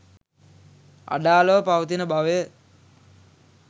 අඩාළව පවතින බවය.